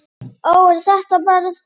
Ó, ert þetta bara þú?